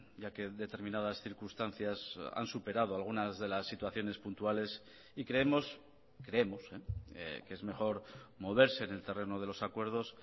ya que determinadas circunstancias han superado algunas de las situaciones puntuales y creemos creemos que es mejor moverse en el terreno de los acuerdos